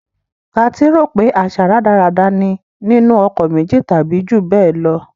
Kathy rò pé àṣà rádaràda ni nínú ọkọ méjì tàbí jù bẹ́ẹ̀ lọ.